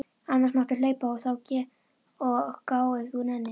Annars máttu hlaupa og gá ef þú nennir.